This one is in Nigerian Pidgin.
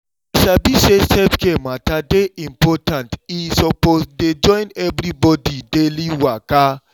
i sabi say self-care matter dey important e suppose dey join everybody daily waka.